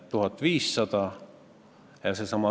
Kas teie arvates riigikeele kaitsmine võrdub kellegi karistamisega?